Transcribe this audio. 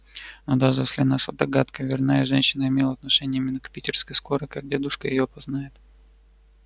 но даже если наша догадка верна и женщина имела отношение именно к питерской скорой как дедушка её опознает